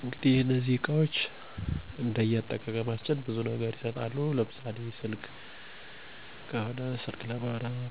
ስልክ እና ላፕቶፕ እጠቀማለሁ። ስልኬን